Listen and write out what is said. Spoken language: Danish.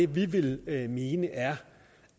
vi vil mene er